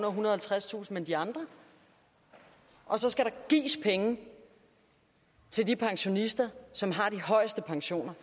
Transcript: og halvtredstusind kr men de andre og så skal der gives penge til de pensionister som har de højeste pensioner